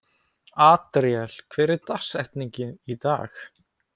Adríel, hver er dagsetningin í dag?